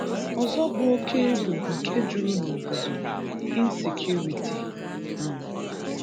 Ọzọ bụ oke egwu nke jụrụ n’obodo.(insecurity) um